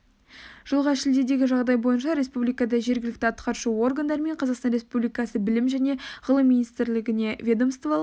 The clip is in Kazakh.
жылғы шілдедегі жағдай бойынша республикада жергілікті атқарушы органдар мен қазақстан республикасы білім және ғылым министрлігіне ведомстволық